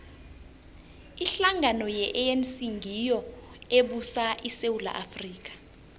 ihlangano ye anc ngiyo ebusa isewula afrika